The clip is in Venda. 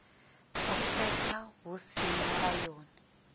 u setsha hu si mulayoni